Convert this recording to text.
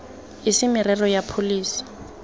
e se merero ya pholesi